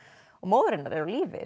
og móðir hennar er á lífi